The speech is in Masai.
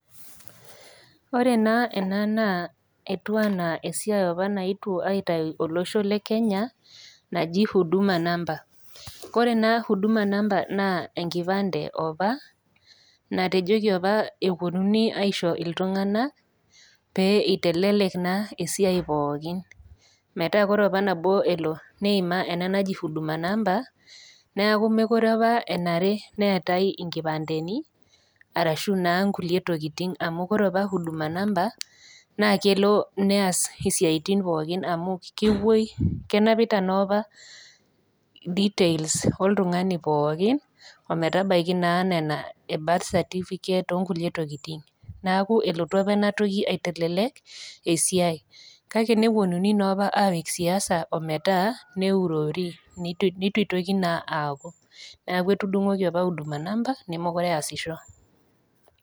Ore naa ena naa esiai opa naetuo aitayu olosho le Kenya naji Huduma namba. Kore ena Huduma namba naa enkipande opa natejoki opa epuonuni opa aisho iltung'ana pee eitelelek naa esiai pookin. Metaa ore opa nelo neima ena naji Huduma namba neaku menare opa neatai inkipandeni arashu naa inkulie tokitin, amu ore opa Huduma namba naa kelo neas isiaitin pooki amu kepuoi, kenapita naa opa details oltung'ani pooki, ometabaiki naa nena e birth certificate o nkulie tokitin, neaku elotu opa ena toki aitelelek esiai, kake nepuonuni naa opa apik siasa neurori neitu naa eitoki aaku, . Neaku etudung'oki naa opa Huduma namba mekure opa easisho.